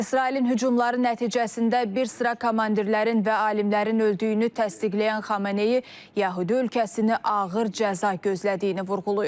İsrailin hücumları nəticəsində bir sıra komandirlərin və alimlərin öldüyünü təsdiqləyən Xameneyi yəhudi ölkəsini ağır cəza gözlədiyini vurğulayıb.